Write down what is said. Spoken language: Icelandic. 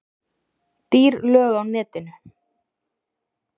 Dýr lög á netinu